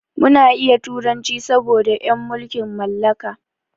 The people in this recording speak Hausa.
Muna iya turanci saboda en mulkin mallaka.